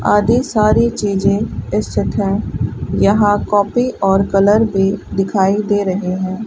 आदि सारी चीज स्थित हैं यहां कॉपी और कलर भी दिखाई दे रहे हैं।